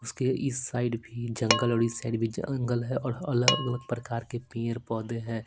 उसके इस साइड भी जंगल और इस साइड भी जंगल है और अलग-अलग प्रकार के पेड़ पौधे हैं।